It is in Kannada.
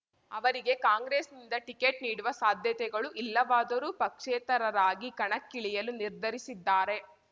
ಅವರಿಗೆ ಕಾಂಗ್ರೆಸ್‌ನಿಂದ ಟಿಕೆಟ್ ನೀಡುವ ಸಾಧ್ಯತೆಗಳು ಇಲ್ಲವಾದರೂ ಪಕ್ಷೇತರರಾಗಿ ಕಣಕ್ಕಿಳಿಯಲು ನಿರ್ಧರಿಸಿದ್ದಾರೆ